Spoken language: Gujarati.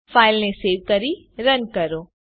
ફાઈલને સેવ કરી રન કરો